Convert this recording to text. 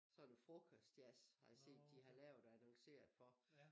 Sådan noget frokostjazz har jeg set at de har lavet og annonceret for